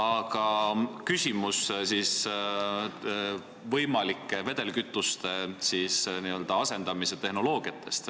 Aga küsimus on vedelkütuste asendamise tehnoloogiate kohta.